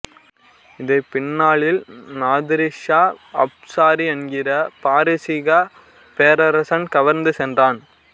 இதை பின்னாளில் Nadir Shah Afshari என்கிற பாரசீக பேரரசன் கவர்ந்து சென்றான்